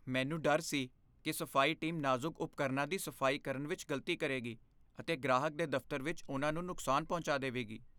ਮੈਨੂੰ ਡਰ ਸੀ ਕਿ ਸਫ਼ਾਈ ਟੀਮ ਨਾਜ਼ੁਕ ਉਪਕਰਣਾਂ ਦੀ ਸਫ਼ਾਈ ਕਰਨ ਵਿੱਚ ਗ਼ਲਤੀ ਕਰੇਗੀ ਅਤੇ ਗ੍ਰਾਹਕ ਦੇ ਦਫ਼ਤਰ ਵਿੱਚ ਉਨ੍ਹਾਂ ਨੂੰ ਨੁਕਸਾਨ ਪਹੁੰਚਾ ਦੇਵੇਗੀ।